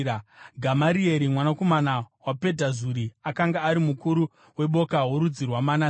Gamarieri mwanakomana waPedhazuri akanga ari mukuru weboka rorudzi rwaManase.